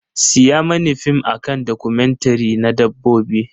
Siya mani fim a kan documentary na Dabbobi.